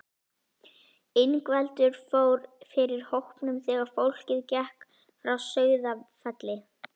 Ingveldur fór fyrir hópnum þegar fólkið gekk frá Sauðafelli.